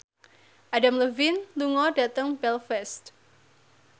Adam Levine lunga dhateng Belfast